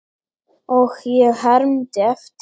Og ég hermdi eftir.